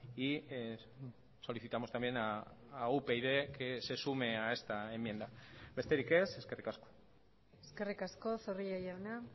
y solicitamos también a upyd que se sume a esta enmienda besterik ez eskerrik asko eskerrik asko zorrilla jauna